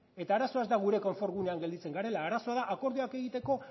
eta arazoa ez da gure konfort gunean gelditzen garela arazoa da akordioak egiteko